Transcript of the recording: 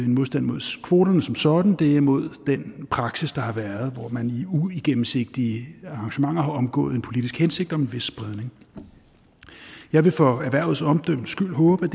en modstand mod kvoterne som sådan det er mod den praksis der har været hvor man i uigennemsigtige arrangementer har omgået en politisk hensigt om en vis spredning jeg vil for erhvervets omdømmes skyld håbe